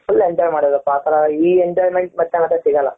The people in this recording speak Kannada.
full enjoy ಮಾಡುದ್ವಿ ಅಪ್ಪ ಆತರ ಈ enjoyment ಮತ್ತೆ ಮತ್ತೆ ಸಿಗಲ್ಲ.